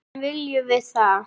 En viljum við það?